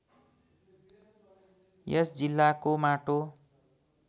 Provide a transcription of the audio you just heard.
यस जिल्लाको माटो